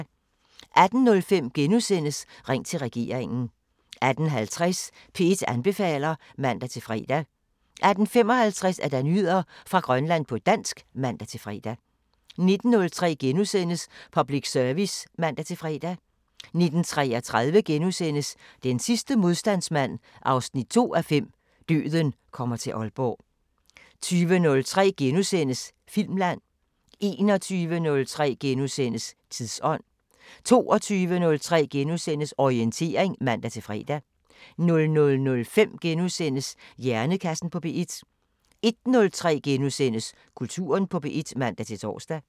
18:05: Ring til regeringen * 18:50: P1 anbefaler (man-fre) 18:55: Nyheder fra Grønland på dansk (man-fre) 19:03: Public Service *(man-fre) 19:33: Den sidste modstandsmand 2:5 – Døden kommer til Aalborg * 20:03: Filmland * 21:03: Tidsånd * 22:03: Orientering *(man-fre) 00:05: Hjernekassen på P1 * 01:03: Kulturen på P1 *(man-tor)